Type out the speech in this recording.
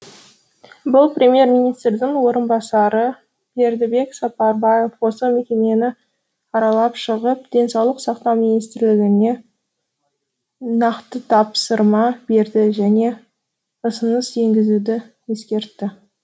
бұл премьер министрдің орынбасары бердібек сапарбаев осы мекемені аралап шығып денсаулық сақтау министрлігіне нақты тапсырма берді және ұсыныс енгізуді ескертті